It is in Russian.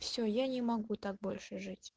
все я не могу так больше жить